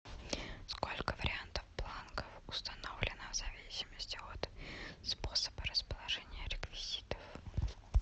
сколько вариантов бланков установлено в зависимости от способа расположения реквизитов